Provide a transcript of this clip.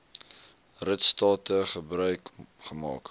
ritstate gebruik gemaak